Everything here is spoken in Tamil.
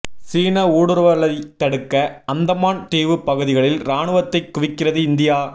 சீன ஊடுருவலைத் தடுக்க அந்தமான் தீவுப் பகுதிகளில் இராணுவத்தை குவிக்கிறது இந்தியா